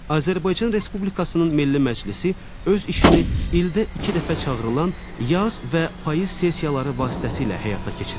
Azərbaycan Respublikasının Milli Məclisi öz işini ildə iki dəfə çağırılan yaz və payız sessiyaları vasitəsilə həyata keçirir.